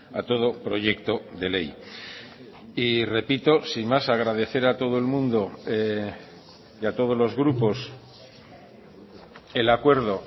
a todo proyecto de ley y repito sin más agradecer a todo el mundo y a todos los grupos el acuerdo